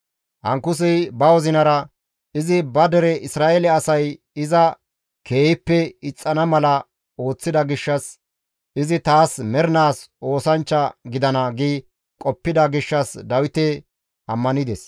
Ankusey ba wozinara, «Izi ba dere Isra7eele asay iza keehippe ixxana mala ooththida gishshas izi taas mernaas oosanchcha gidana» gi qoppida gishshas Dawite ammanides.